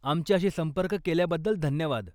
आमच्याशी संपर्क केल्याबद्दल धन्यवाद.